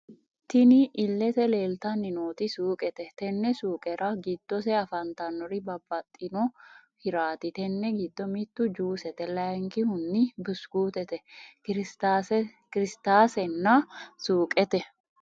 Tinni illete leelitanni nooti suuqete Tini suuqerra giddose afantannori babaxitino hirrati tenne giddo mittu juusete layikihuni busukutete kirisitase nna suuqete...